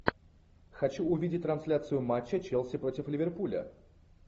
хочу увидеть трансляцию матча челси против ливерпуля